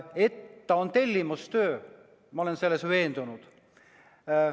Selles, et ta on tellimustöö, olen ma veendunud.